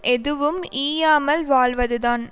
எதுவும் ஈயாமல் வாழ்வதுதான்